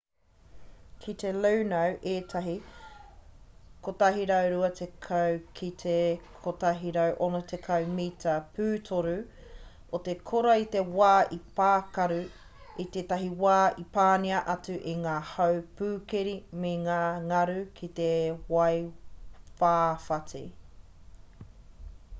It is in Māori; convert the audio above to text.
i te luno ētahi 120-160 mita pūtoru o te kora i te wā i pākaru i te wā i panaia atu e ngā hau pūkeri me ngā ngaru ki te waiwhawhati